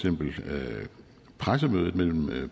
pressemødet mellem